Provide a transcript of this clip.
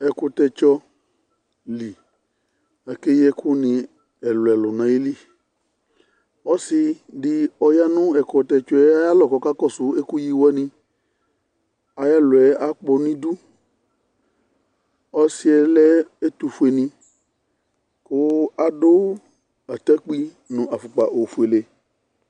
Ɛkʋtɛtsɔ li, akeyi ɛkʋni ɛlʋɛlʋ nʋ ayili Ɔsɩ di ɔya nʋ ɛkʋtɛtsɔ yɛ ayalɔ kʋ ɔkakɔsʋ ɛkʋyi wani Ayʋ ɛlɔ yɛ akpɔ nʋ idu Ɔsɩ yɛ lɛ ɛtʋfueni, kʋ adu atakpi nʋ afukpa ofuele